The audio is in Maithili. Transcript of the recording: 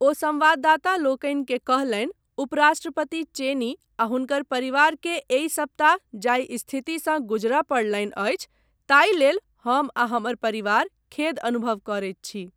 ओ संवाददातालोकनिकेँ कहलनि 'उपराष्ट्रपति चेनी आ हुनकर परिवारकेँ एहि सप्ताह जाहि स्थितिसँ गुजरय पड़लनि अछि ताहि लेल हम आ हमर परिवार खेद अनुभव करैत छी।